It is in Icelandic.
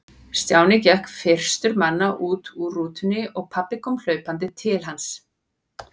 Stjáni gekk fyrstur manna út úr rútunni og pabbi kom hlaupandi til hans.